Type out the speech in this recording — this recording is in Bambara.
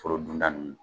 Foro dunda nunnu